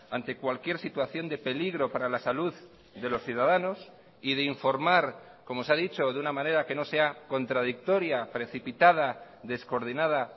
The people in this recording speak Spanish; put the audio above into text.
ante cualquier situación de peligro para la salud de los ciudadanos y de informar como se ha dicho de una manera que no sea contradictoria precipitada descoordinada